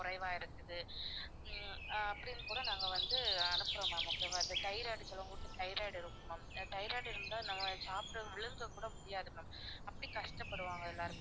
குறைவா இருக்குது ஹம் அப்படின்னு கூட நாங்க வந்து அனுப்புறோம் ma'am okay வா இது thyroid சிலவங்களுக்கு thyroid இருக்கும் ma'am thyroid இருந்தா நம்ம சாப்பிட்டதை விழுங்க கூடமுடியாது ma'am அப்படி கஷ்டப்படுவாங்க எல்லாருமே